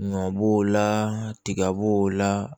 Ɲɔ b'o la tiga b'o la